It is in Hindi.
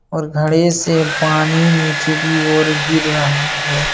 और घड़े से पानी नीचे की और गिर रहा हैं।